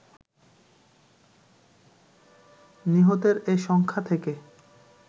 নিহতের এ সংখ্যা থেকে